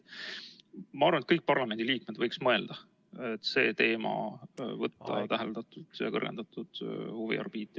Ma arvan, et kõik parlamendiliikmed võiks mõelda selle üle, et võtta see teema suuremasse huviorbiiti.